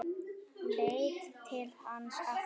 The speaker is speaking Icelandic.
Leit til hans aftur.